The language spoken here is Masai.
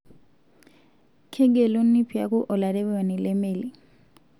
Kegeluni piaku olarewani lemeli.